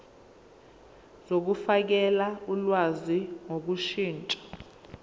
zokufakela ulwazi ngokushintsha